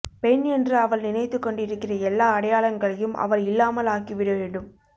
பெண் என்று அவள் நினைத்துக்கொண்டிருக்கிற எல்லா அடையாளங்களையும் அவள் இல்லாமலாக்கி விடவேண்டும்